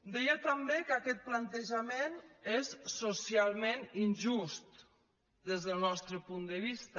deia també que aquest plantejament és socialment injust des del nostre punt de vista